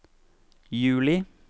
juli